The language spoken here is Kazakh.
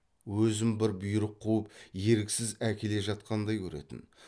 өзін бір бұйрық қуып еріксіз әкеле жатқандай көретін